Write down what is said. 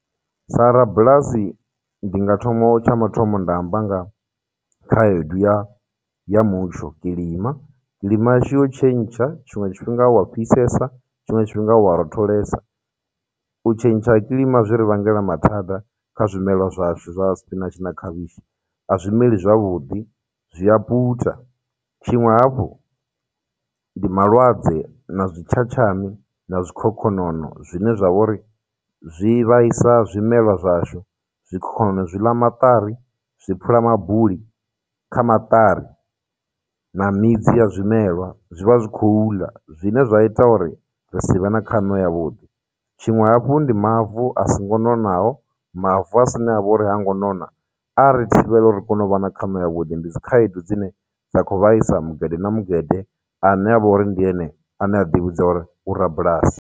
Sa rabulasi ndi nga thoma tsha mathomo nda amba nga khaedu ya ya mutsho, kilima, ndima yashu yo tshentsha, tshiṅwe tshifhinga huya fhisesa, tshiṅwe tshifhinga huya rotholesa. U tshentsha ha kilima zwi ri vhangela mathada kha zwimelwa zwashu zwa sipinatshi na khavhishi, a zwi meli zwavhuḓi, zwi ya puta. Tshiṅwe hafhu ndi malwadze, na zwitshatshami, na zwikhokhonono zwine zwa vha uri, zwi vhaisa zwimelwa zwashu, zwikhokhonono zwi ḽa maṱari, zwi phula mabuli kha maṱari, na midzi ya zwimelwa zwi vha zwi khou ḽa, zwine zwa ita uri ri si vhe na khaṋo ya vhuḓi. Tshiṅwe hafhu ndi mavu a songo nonaho, mavu a avha uri hango nona, a ri thivhela uri ri kone u vha na khaṋo ya vhuḓi, ndi dzikhaedu dzine dza khou vhaisa mugede na mugede ane avha uri ndi ene ane a ḓi vhidza uri ndi u rabulasi.